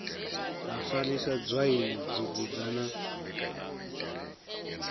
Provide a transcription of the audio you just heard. ha farisa dzwaini dugudzha na